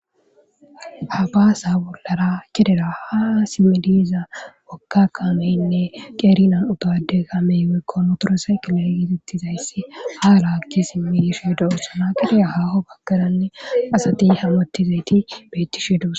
ha baasa bollara kedera ha simmidiiza wokka qaameynne qeerinan utade gamey wekko ootorasay kilalgitettizayssi haa la akki simmidishedo ohsana qidiya haaho baggaranne asati hammotizayti beetti she dus